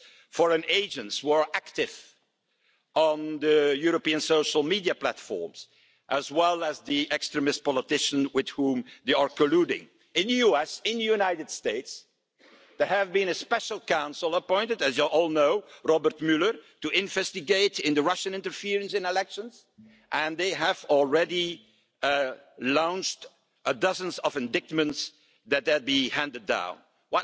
We have problems to say the least in our transatlantic partnership, we have China rising up there are so many challenges out there. But I would argue that more threatening than anything that the world can throw at us are actually the enemies from the inside, and that they are the obvious ones the nationalists that bring hatred, division